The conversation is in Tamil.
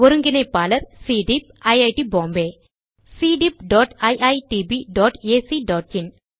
ஒருங்கிணைப்பாளர் சிடீப் ஐட் Bombay cdeepiitbacஇன்